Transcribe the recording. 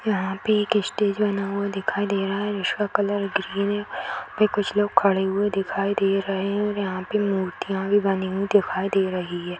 यहाँ पे एक स्टेज बना हुआ दिखाई दे रहा है जिसका कलर ग्रीन है और यहाँ पे कुछ लोग खड़े हुए दिखाई दे रहे है और यहाँ पे मूर्तियाँ भी बनी हुई दिखाई दे रही है |